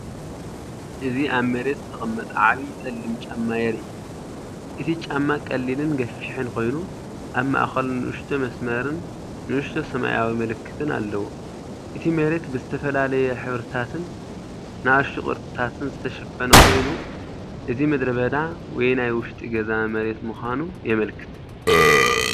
እዚ ኣብ መሬት ዝተቀመጠ ዓቢ ጸሊም ጫማ የርኢ። እቲ ጫማ ቀሊልን ገፊሕን ኮይኑ፡ ኣብ ማእከሉ ንእሽቶ መስመርን ንእሽቶ ሰማያዊ ምልክትን ኣለዎ። እቲ መሬት ብዝተፈላለየ ሕብርታትን ንኣሽቱ ቅርጽታትን ዝተሸፈነ ኮይኑ፡እዚ ምድረበዳ ወይ ናይ ውሽጢ ገዛ መሬት ምዃኑ የመልክት።